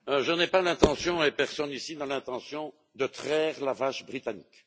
Je n'ai pas l'intention et personne, ici, n'a l'intention de traire la vache britannique.